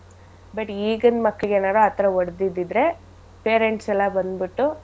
But ಈಗಿನ್ ಮಕ್ಳಿಗೆನರ ಆಥರ ಹೊಡ್ದಿದಿದ್ರೆ parents ಎಲ್ಲಾ ಬಂದ್ಬಿಟ್ಟು.